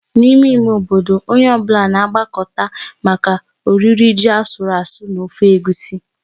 N'ime ime obodo, onye ọ bụla na-agbakọta maka oriri ji asụru asụ́ na ofe egusi.